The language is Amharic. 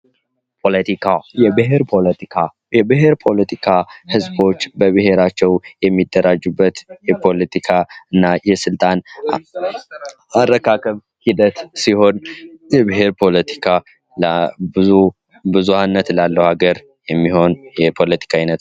ፖለቲካ የብሔር ፖለቲካ የብሔር ፖለቲካ ህዝቦች በብሔራቸው የሚደራጁበት የፖለቲካ እና የስልጣን አረካከብ ሂደት ሲሆን የብሔር ፖለቲካ ብዙኀነት እላለሁ ሀገር የሚሆን የፖለቲካ አይነት